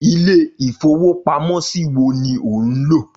Ilé-ìfowópamọ́sí wo ni ò ń lò?